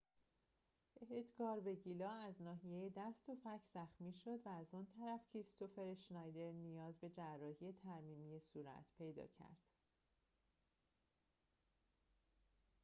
ادگار وگیلا از ناحیه دست و فک زخمی شد و از آن طرف کریستوفر اشنایدر نیاز به جراحی ترمیمی صورت پیدا کرد